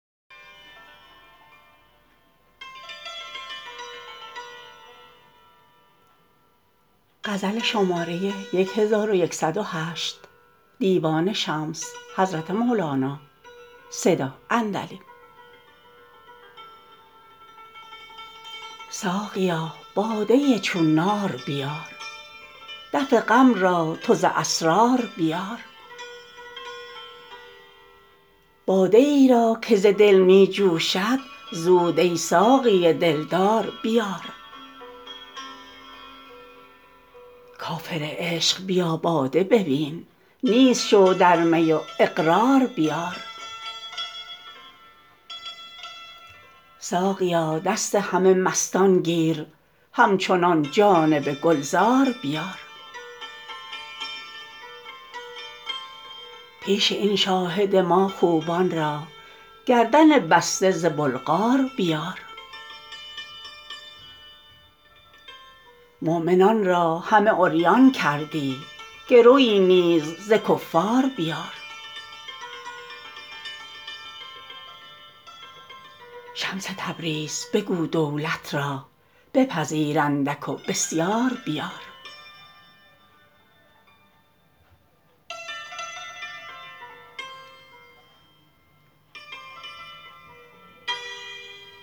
ساقیا باده چون نار بیار دفع غم را تو ز اسرار بیار باده ای را که ز دل می جوشد زود ای ساقی دلدار بیار کافر عشق بیا باده ببین نیست شو در می و اقرار بیار ساقیا دست همه مستان گیر همچنان جانب گلزار بیار پیش این شاهد ما خوبان را گردن بسته ز بلغار بیار مؤمنان را همه عریان کردی گروی نیز ز کفار بیار شمس تبریز بگو دولت را بپذیر اندک و بسیار بیار